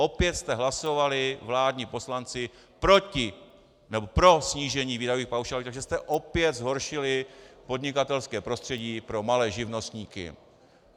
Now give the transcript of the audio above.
Opět jste hlasovali, vládní poslanci, pro snížení výdajových paušálů, takže jste opět zhoršili podnikatelské prostředí pro malé živnostníky.